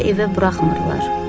İqor evə buraxmırlar.